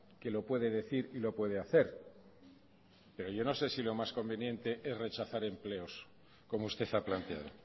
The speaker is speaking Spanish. que lo puede decir y lo puede hacer pero yo no sé si lo más conveniente es rechazar empleos como usted ha planteado